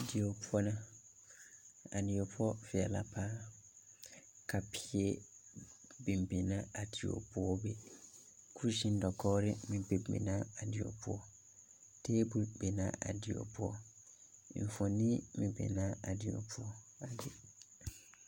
Die poɔ la a die poɔ veɛle la paa ka peɛ biŋ biŋ la a die poɔ be kuseŋ dagkogiri meŋ biŋ biŋ la a die taabɔl biŋ la a die enfuoni meŋ be la a die